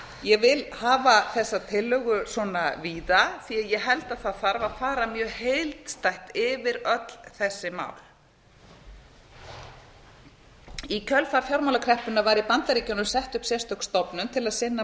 ég vil hafa þessa tillögu svona víða því að ég held að það þurfi að fara mjög heildstætt yfir öll þessi mál í kjölfar fjármálakreppunnar var í bandaríkjunum sett upp sérstök stofnun til að sinna